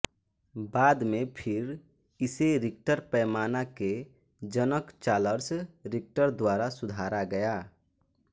बाद में फिर इसे रिक्टर पैमाना के जनक चार्ल्स रिक्टर द्वारा सुधारा गया